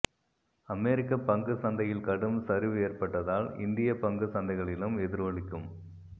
அமெரிக்க பங்குச் சந்தையில் கடும் சரிவு ஏற்பட்டதால் இந்தியப் பங்குச் சந்தைகளிலும் எதிரொலிக்கும்